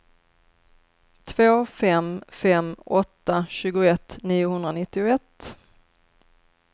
två fem fem åtta tjugoett niohundranittioett